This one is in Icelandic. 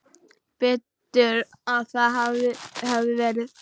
Betur að það hefði verið.